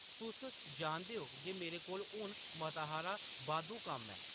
"तुस जानदे ओ जे मेरे कोल हुन मता हारा बाद्धू कम्म ऐ ।